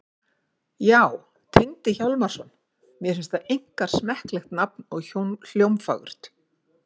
Já, Tengdi Hjálmarsson. mér finnst það einkar smekklegt nafn og hljómfagurt.